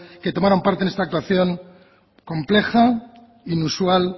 que tomaron parte en esta actuación compleja inusual